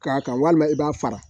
K'a kan walima i b'a fara